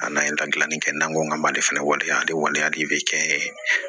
A n'an ye da dilanni kɛ n'an ko k'an ma ale fɛnɛ waleya waleya de bɛ kɛ n ye